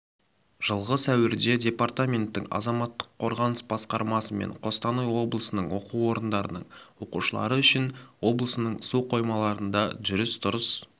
жылғы сәуірде департаменттің азаматтық қорғаныс басқармасымен қостанай облысының оқу орындарының оқушылары үшін облысының су қоймаларында жүріс-тұрыс